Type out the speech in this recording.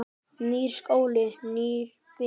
Nýr skóli, nýir vinir.